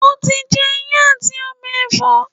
o ti jẹ iyán ati ọbẹ ẹfọ?